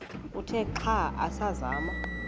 uthe xa asazama